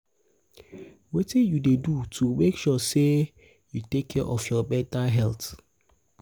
wetin you dey do to make sure say you you take care of your mental health?